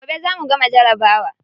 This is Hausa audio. Gobe za mu gama jarabawa.